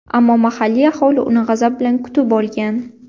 Ammo mahalliy aholi uni g‘azab bilan kutib olgan.